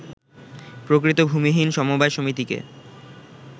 প্রকৃত ভূমিহীন সমবায় সমিতিকে